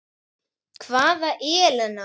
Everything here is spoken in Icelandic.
Hvaða Ellen?